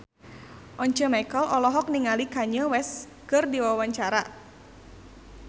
Once Mekel olohok ningali Kanye West keur diwawancara